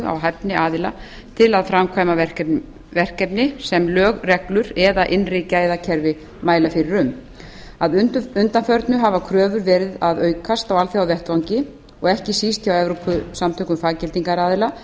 hæfni aðila til að framkvæma verkefni sem lög reglur eða innri gæðakerfi mæla fyrir um að undanförnu hafa kröfur verið að aukast á alþjóðavettvangi og ekki síst hjá evrópusamtökum faggildingaraðila